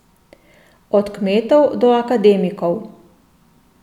Od kmetov do akademikov.